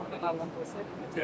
Bax burda anadan olub.